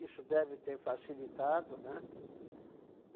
Isso deve ter facilitado, né?